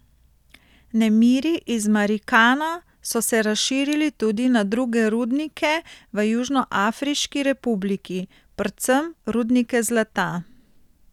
Nemiri iz Marikana so se razširili tudi na druge rudnike v Južnoafriški republiki, predvsem rudnike zlata.